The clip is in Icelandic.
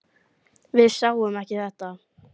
Við sáum ekki þetta!